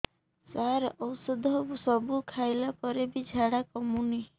ସାର ଔଷଧ ସବୁ ଖାଇଲା ପରେ ବି ଝାଡା କମୁନି